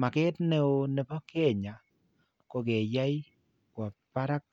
Makeet ne oo ne po keny'aa ko ke yaay kwa paarak